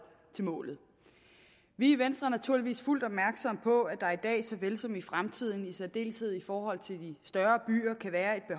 til målet vi i venstre er naturligvis fuldt opmærksomme på at der i dag såvel som i fremtiden i særdeleshed i forhold til de større byer kan være